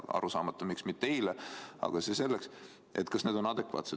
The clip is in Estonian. Loodetavasti me homme kuuleme neid otsuseid ja on arusaamatu, miks see ei sündinud eile.